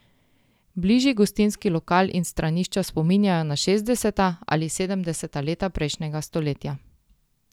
Bližnji gostinski lokal in stranišča spominjajo na šestdeseta ali sedemdeseta leta prejšnjega stoletja.